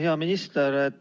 Hea minister!